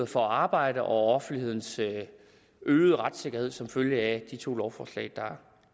for at arbejde og offentlighedens øgede retssikkerhed som følge af de to lovforslag der